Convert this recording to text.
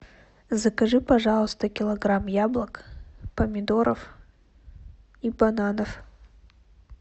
закажи пожалуйста килограмм яблок помидоров и бананов